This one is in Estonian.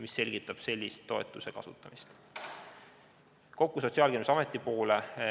Mis selgitab sellist toetuse kasutamist?